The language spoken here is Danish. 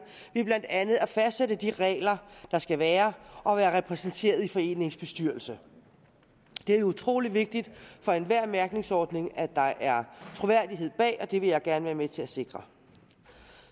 ved blandt andet at fastsætte de regler der skal være og være repræsenteret i foreningens bestyrelse det er jo utrolig vigtigt for enhver mærkningsordning at der er troværdighed bag og det vil jeg gerne være med til at sikre